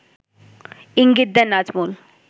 ইঙ্গিত দেন নাজমুল